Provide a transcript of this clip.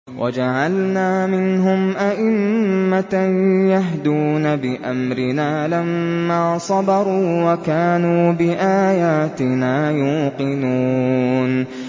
وَجَعَلْنَا مِنْهُمْ أَئِمَّةً يَهْدُونَ بِأَمْرِنَا لَمَّا صَبَرُوا ۖ وَكَانُوا بِآيَاتِنَا يُوقِنُونَ